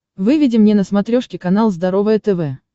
выведи мне на смотрешке канал здоровое тв